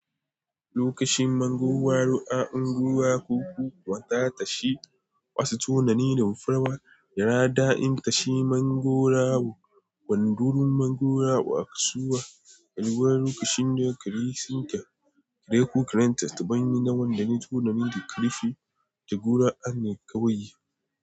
Lokacin mango waro a unguwa ko ku kuwa da ta shi Wandurin mangwaro a kasuwa, kan ruwa lokacin da kare sun ka, kare ko karen ta, ta ban yi na wanda ne tunani da karfi, da gura'an ne kawai yi.